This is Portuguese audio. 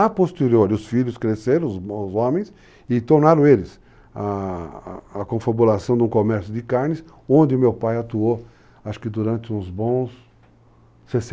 A posteriori, os filhos cresceram, os homens, e tornaram eles a confabulação de um comércio de carnes, onde meu pai atuou, acho que durante uns bons 60 anos.